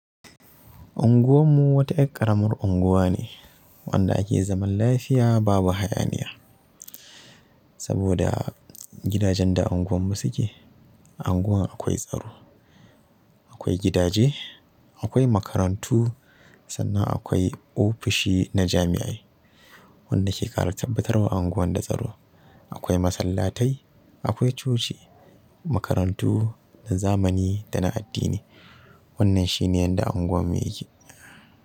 Anguwan mu wata yar ƙaramar anguwa ne wanda ake zaman lafiya babu hayaniya. Saboda gidajen da anguwar mu suke, anguwan akwai tsaro, akwai gidaje, akwai makarantu sannan akwai ofishi na jamiai wanda ke ƙara tabbatarwa unguwar da tsaro. Akwai masallatai, akwai coci, makarantu na zamani da na addini. Wannan shi ne yadda anguwan mu yake.